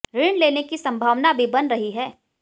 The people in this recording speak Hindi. ऋण लेने की सम्भावना भी बन रही हैं